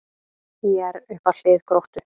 ÍR upp að hlið Gróttu